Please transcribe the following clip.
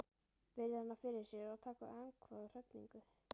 Virðir hana fyrir sér og tekur andköf af hrifningu.